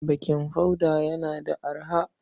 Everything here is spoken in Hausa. Bakin hoda yana da arha.